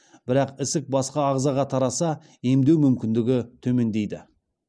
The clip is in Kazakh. бірақ ісік басқа азғаға тараса емдеу мүмкіндігі төмендейді